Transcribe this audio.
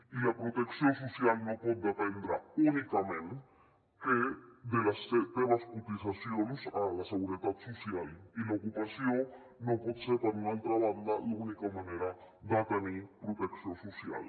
i la protecció social no pot dependre únicament de les teves cotitzacions a la seguretat social i l’ocupació no pot ser per una altra banda l’única manera de tenir protecció social